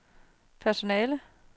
personale